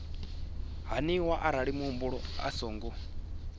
haniwa arali muhumbeli a songo